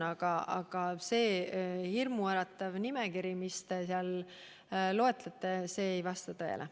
Aga see hirmuäratav nimekiri, mis te loetlesite, ei vasta tõele.